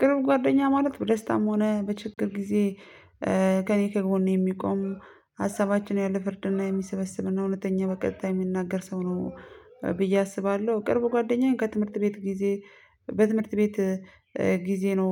ቅርብ ጓደኛ ማለት በደስታም ሆነ በችግር ጊዜ ከእኔ ከጎኔ የሚቆሙ ሀሳባችን ያለ ፍርድና የሚሰበስብና እውነተኛ በቀጥታ የሚናገር ሰው ነው። ብዬ አስባለሁ። ቅርብ ጓደኛዬን ከትምህርት ቤት ጊዜ። በትምህርት ቤት ጊዜ ነው።